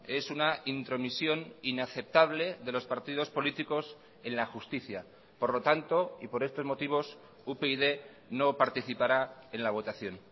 es una intromisión inaceptable de los partidos políticos en la justicia por lo tanto y por estos motivos upyd no participará en la votación